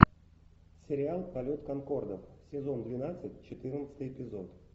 сериал полет конкордов сезон двенадцать четырнадцатый эпизод